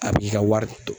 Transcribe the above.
A b'i ka wari don